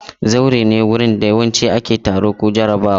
Zaure ne wurin da yawanci ake taro ko jarabawa.